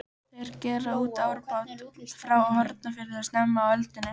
Þeir gerðu út árabát frá Hornafirði snemma á öldinni.